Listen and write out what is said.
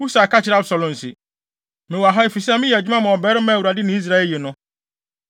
Husai ka kyerɛɛ Absalom se, “Mewɔ ha efisɛ meyɛ adwuma ma ɔbarima a Awurade ne Israel ayi no.